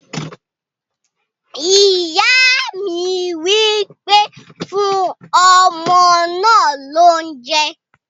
Ìyá mi wí pé "fún ọmọ náà ní oúnjẹ!"